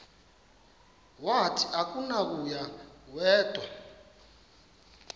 wathi akunakuya wedw